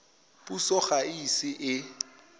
puso ga e ise e